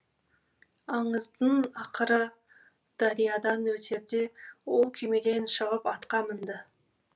аңыздың ақыры дариядан өтерде ол күймеден шығып атқа мінді